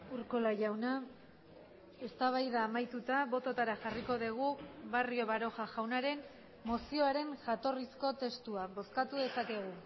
urkola jauna eztabaida amaituta bototara jarriko dugu barrio baroja jaunaren mozioaren jatorrizko testua bozkatu dezakegu